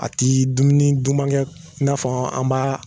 A ti dumuni dumankɛ i n'a fɔ an b'a